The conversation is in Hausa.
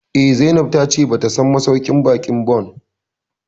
Eh, Zainab ta ce ba ta son masauƙin baƙin Bon